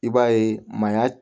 I b'a ye maaya